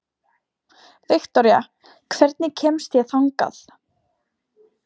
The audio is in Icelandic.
Viktoría, hvernig kemst ég þangað?